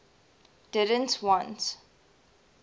didn t want